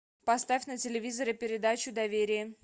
поставь на телевизоре передачу доверие